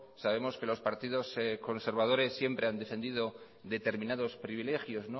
sabemos que los partidos conservadores siempre han defendido determinados privilegios